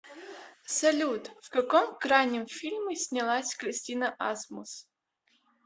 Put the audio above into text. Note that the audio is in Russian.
салют в каком крайнем фильме снялась кристина асмус